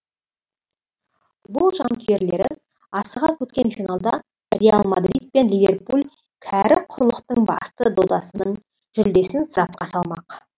футбол жанкүйерлері асыға күткен финалда реал мадрид пен ливерпуль кәрі құрлықтың басты додасының жүлдесін сарапқа салмақ